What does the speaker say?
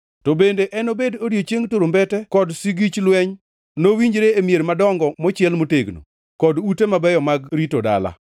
To bende enobed odiechieng turumbete kod sigich mar lweny nowinjre e mier madongo mochiel motegno, kod ute mabeyo mag rito dala.